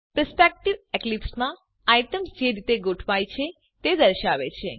perspective એક્લીપ્સમાં items જે રીતે ગોઠવાય છે તે દર્શાવે છે